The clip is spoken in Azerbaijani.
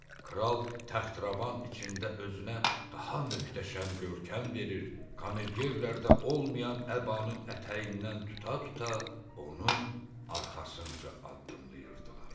Kral taxtrəvan içində özünə daha möhtəşəm görkəm verir, kamergerlər də olmayan əbanın ətəyindən tuta-tuta onun arxasınca addımlayırdılar.